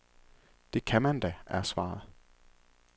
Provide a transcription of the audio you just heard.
Det kan man da, er svaret.